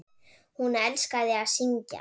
Hún elskaði að syngja.